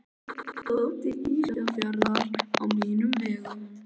Þessi stúlka kom til Ísafjarðar á mínum vegum.